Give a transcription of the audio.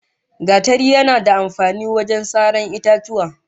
Gatari yana da amfani wajen saran itatuwa